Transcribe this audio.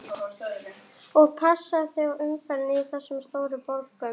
Og passaðu þig á umferðinni í þessum stóru borgum.